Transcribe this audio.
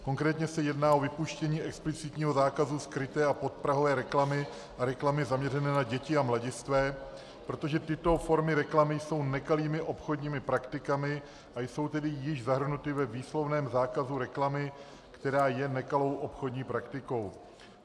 Konkrétně se jedná o vypuštění explicitního zákazu skryté a podprahové reklamy a reklamy zaměřené na děti a mladistvé, protože tyto formy reklamy jsou nekalými obchodními praktikami, a jsou tedy již zahrnuty ve výslovném zákazu reklamy, která je nekalou obchodní praktikou.